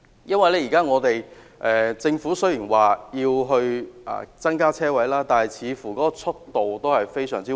雖然政府現在說要增加車位，但似乎速度非常緩慢。